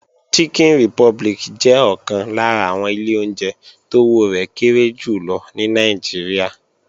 Chicken Republic jẹ́ ọ̀kan lára àwọn ilé oúnjẹ tówó rẹ̀ kéré jù lọ ní Nàìjíríà